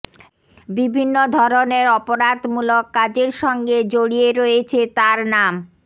বিভিন্ন ধরনের অপরাধমূলক কাজের সঙ্গে জরিয়ে রয়েছে তাঁর নাম